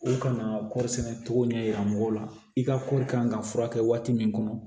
U kana kɔɔri sɛnɛ togo ɲɛ yira mɔgɔw la i ka kɔɔri kan ka furakɛ waati min kɔnɔ